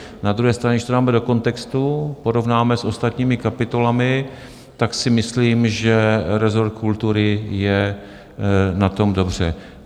Na druhé straně, když to dáme do kontextu, porovnáme s ostatními kapitolami, tak si myslím, že rezort kultury je na tom dobře.